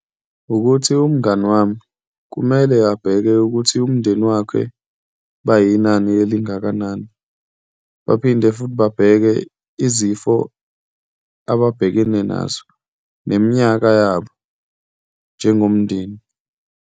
Wukuthi umngani wami kumele abheke ukuthi umndeni wakhe bayinani elingakanani, baphinde futhi babheke izifo ababhekene nazo, neminyaka yabo njengomndeni.